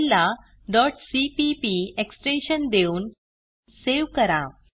फाईलला cpp extension देऊन save करा